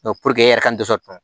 e yɛrɛ ka ndosɔn